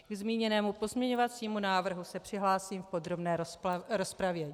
Ke zmíněnému pozměňovacímu návrhu se přihlásím v podrobné rozpravě.